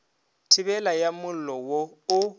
thibelo ya mollo wo o